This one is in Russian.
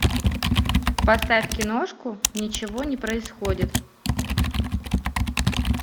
поставь киношку ничего не происходит